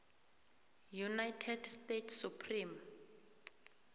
united states supreme